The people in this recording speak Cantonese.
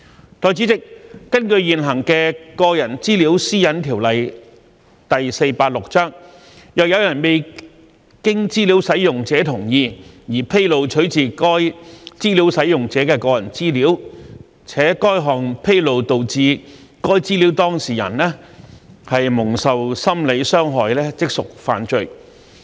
代理主席，根據現行的《個人資料條例》，若有人未經資料使用者同意而披露取自該資料使用者的個人資料，且該項披露導致該資料當事人蒙受心理傷害，即屬犯罪。